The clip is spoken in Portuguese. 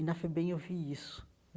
E na FEBEM eu vi isso.